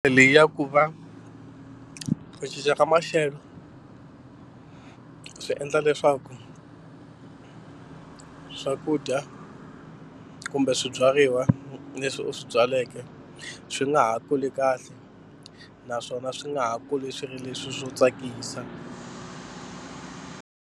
Leyi ya ku va ku cinca ka maxelo swi endla leswaku swakudya kumbe swibyariwa leswi u swi byaleke swi nga ha kuli kahle naswona swi nga ha kuli swi ri leswi swo tsakisa.